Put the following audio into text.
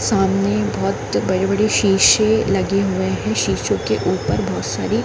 सामने बहोत बड़े-बड़े शीशे लगे हुए है शीशों के ऊपर बहोत सारी--